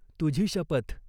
तुझी शपथ.